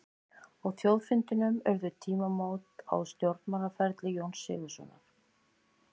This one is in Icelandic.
Á þjóðfundinum urðu tímamót á stjórnmálaferli Jóns Sigurðssonar.